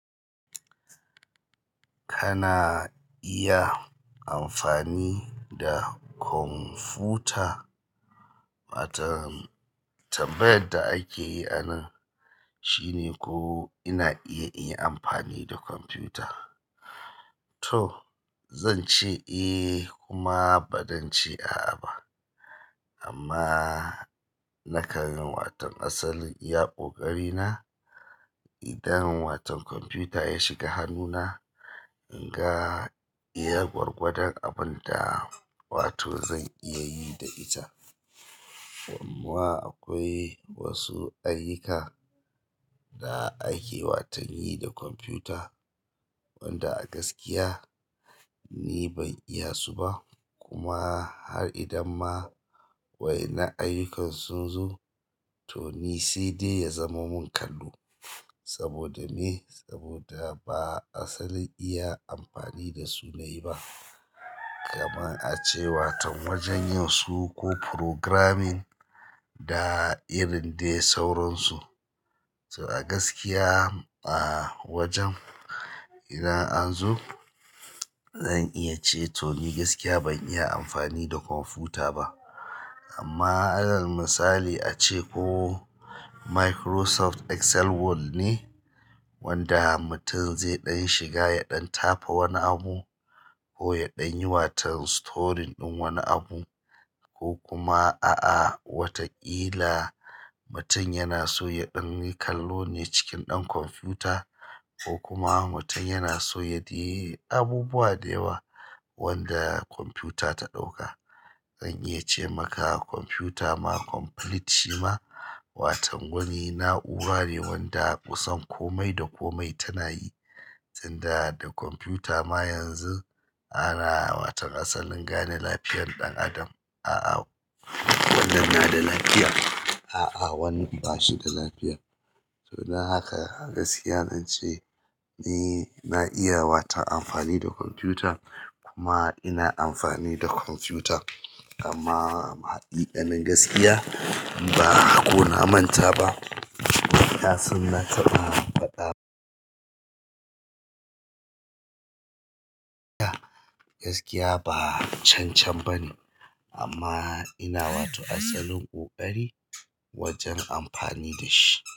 Kana iya amfani da kwamfuta? Wato tambayan da ake yi anan shine ko ina iya in yi amfani da kwamfuta? To zan ce eh kuma ba zan ce a'a ba. Amma nakan yi wato asalin iya ƙoƙari na idan wata kwamfuta ya shiga hannuna, in ga iya gwargwadon abin da wato zan iya yi da ita. Amma akwai wasu ayyuka da ake watan yi da kwamfuta wanda a gaskiya ni ban iya su ba kuma har idan ma wai na ayyukansu zo to ni sai dai ya zama mun kallo. Saboda me? Saboda ba asalin iya amfani da su nayi ba. Kaman a ce waton wajan yin su ko programming da irin dai sauransu. So a gaskiya ba wajen idan an zo zan iya ce to ni gaskiya ban iya amfani da kamfuta ba amma irin misali ace ko Microsoft Excel word ne wanda mutum zai ɗan shiga ya ɗan tafa wani abu ko ya ɗan yi waton storing ɗin wani abu ko kuma a'a wataƙila mutum yana so ya ɗan yi kallo ne cikin ɗan kwamfuta ko kuma mutum yana so ya dai yi abubuwa da yawa wanda kwamfuta ta ɗauka. Zan iya ce maka kwamfuta ma complete shi ma waton wani na'ura ne wanda a kusan kome da kome tana yi. Tunda da kwamfuta ma yanzu ana waton asalin gane lafiyan ɗan adam. A'a, wannan na da lafiya, a'a wannan bashi da lafiya. To don haka a gaskiya zan ce ni na iya wata amfani da kwamfuta kuma ina amfani da kwamfuta amma haqiƙanin gaskiya ba ko na manta ba, nasan nata ba faɗa. Gaskiya ba cancan bane amma ina wato asalin ƙoƙari wajan amfani da shi.